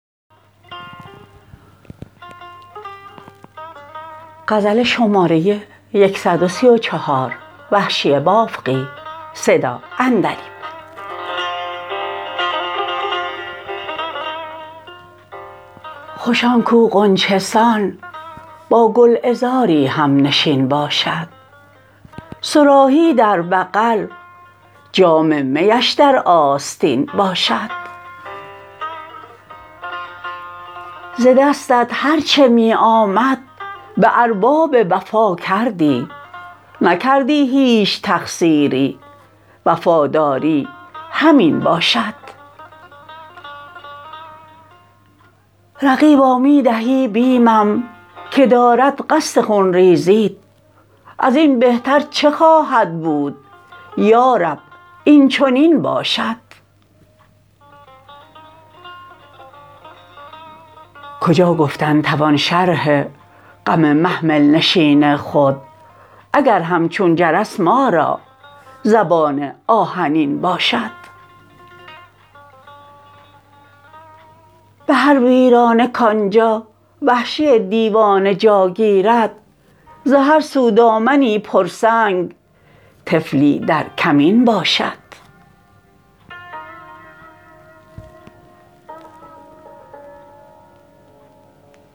خوش آن کو غنچه سان با گلعذاری همنشین باشد صراحی در بغل جام میش در آستین باشد ز دستت هر چه می آمد به ارباب وفا کردی نکردی هیچ تقصیری وفاداری همین باشد رقیبا می دهی بیمم که دارد قصد خون ریزیت ازین بهتر چه خواهد بود یا رب اینچنین باشد کجا گفتن توان شرح غم محمل نشین خود اگر همچون جرس ما را زبان آهنین باشد به هر ویرانه کانجا وحشی دیوانه جا گیرد ز هر سو دامنی پرسنگ طفلی در کمین باشد